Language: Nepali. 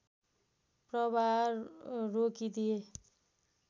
प्रवाह रोकिदिए